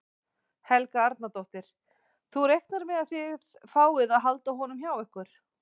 Helga Arnardóttir: Þú reiknar með að þið fáið að halda honum hjá ykkur?